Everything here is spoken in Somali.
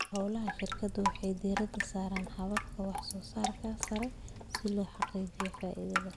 Hawlaha shirkadu waxay diiradda saaraan hababka wax soo saarka sare si loo xaqiijiyo faa'iidada.